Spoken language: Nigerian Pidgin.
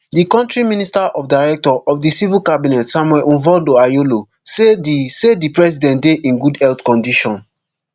di kontri minister of director of di civil cabinet samuel mvondo ayolo say di say di president dey in good health condition